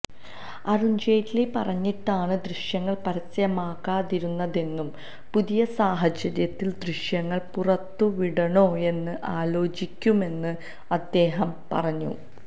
അരുണ് ജെയ്റ്റ്ലി പറഞ്ഞിട്ടാണ് ദൃശ്യങ്ങള് പരസ്യമാക്കാതിരുന്നതെന്നും പുതിയ സാഹചര്യത്തില് ദൃശ്യങ്ങള് പുറത്തുവിടണോയെന്ന് ആലോചിക്കുമെന്നും അദ്ദേഹം പറഞ്ഞു